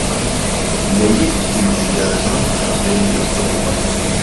у тебя есть фильм индиана джонс и последний крестовый поход